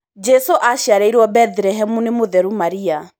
Jesu aciarĩirwo Bethilehemu nĩ mũtheru Maria.